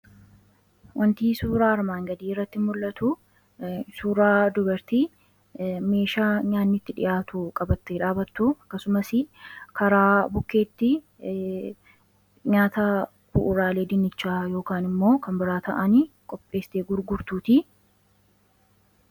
wantii suuraa armaan gadii irratti mul'atu suuraa dubertii meeshaa nyaannitti dhi'aatu qabatte dhaabattu akkasumas karaa bukeetti nyaata ku'uraalee dinichaa yk immoo kan biraata'ani qopheestee gugurtuuti